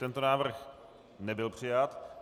Tento návrh nebyl přijat.